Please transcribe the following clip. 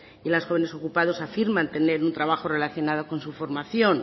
y las jóvenes ocupados afirma tener un trabajo relacionado con su formación